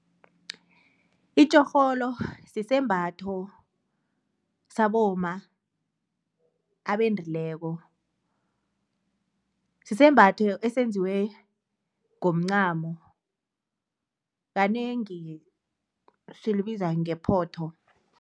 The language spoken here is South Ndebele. Itjorholo sisembatho sabomma abendileko sisembatho esenziwe ngomncani, kanengi silibiza ngephoto.